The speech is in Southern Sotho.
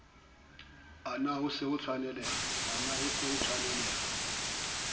a na ho se tshwanelehe